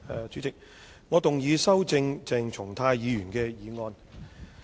主席，我動議修正鄭松泰議員的議案。